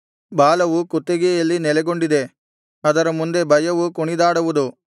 ಬಲವು ಕುತ್ತಿಗೆಯಲ್ಲಿ ನೆಲೆಗೊಂಡಿದೆ ಅದರ ಮುಂದೆ ಭಯವು ಕುಣಿದಾಡುವುದು